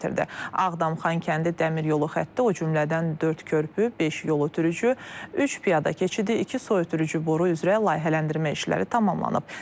Ağdam-Xankəndi dəmir yolu xətti, o cümlədən dörd körpü, beş yol ötürücü, üç piyada keçidi, iki su ötürücü boru üzrə layihələndirmə işləri tamamlanıb.